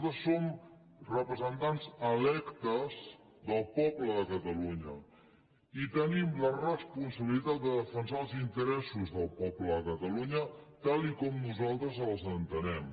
nosaltres som representants electes del poble de catalunya i tenim la responsabilitat de defensar els interessos del poble de catalunya tal com nosaltres els entenem